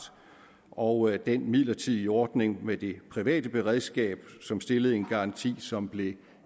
og den midlertidige ordning med det private beredskab som stillede en garanti som blev